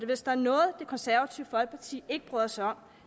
hvis der er noget det konservative folkeparti ikke bryder sig om